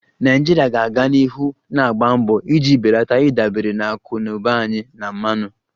Nigeria ga-aga n'ihu na-agba mbọ iji belata ịdabere na akụ na ụba anyị na mmanụ